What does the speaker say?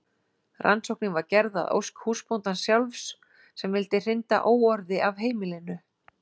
Rannsóknin var gerð að ósk húsbóndans sjálfs sem vildi hrinda óorði af heimilinu.